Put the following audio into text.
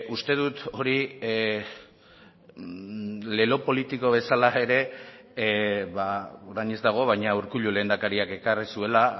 uste dut hori lelo politiko bezala ere orain ez dago baina urkullu lehendakariak ekarri zuela